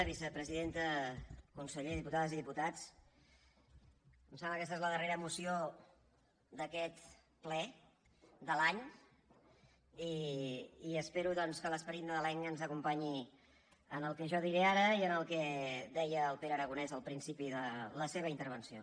vicepresidenta conseller diputades i diputats em sembla que aquesta és la darrera moció d’aquest ple de l’any i espero doncs que l’esperit nadalenc ens acompanyi en el que jo diré ara i en el que deia el pere aragonès al principi de la seva intervenció